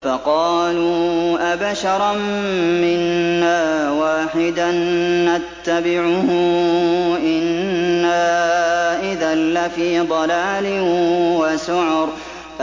فَقَالُوا أَبَشَرًا مِّنَّا وَاحِدًا نَّتَّبِعُهُ إِنَّا إِذًا لَّفِي ضَلَالٍ وَسُعُرٍ